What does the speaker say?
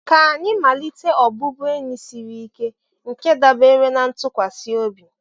Ka anyị wulite ọbụbụenyi siri ike nke dábèrè na ntụkwasị obi